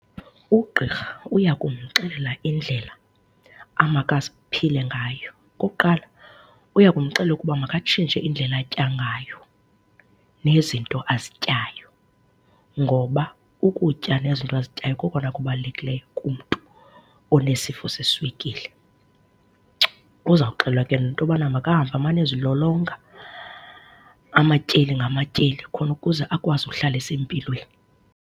Ugqirha uya kumxelela indlela aphile ngayo. Okokuqala uyakumxelela ukuba makatshintshe indlela atya ngayo nezinto azityayo ngoba ukutya nezinto azityayo kokona kubalulekileyo kumntu onesifo seswekile. Uzawuxelelwa ke nento yoba makahambe amane ezilolonga amatyeli ngamatyeli khona ukuze akwazi ukuhlala esempilweni.